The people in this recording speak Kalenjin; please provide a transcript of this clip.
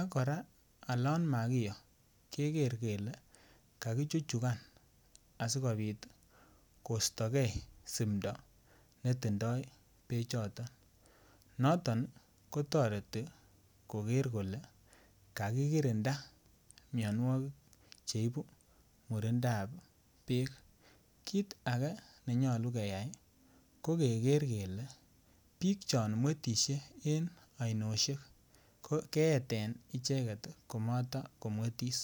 akora olon makiyoe keker kele kakichuchukan asikobit kostoge simndoo netindoo bechoton, noto kotoreti keker kele kakikirinda mianwogik cheibu beekab murindoo, ak kora kit age nenyolu keyai ko biik chomwetisiek en ainet keeten icheket komotomwetis